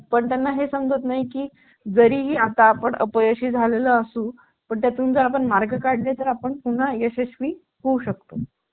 washing machine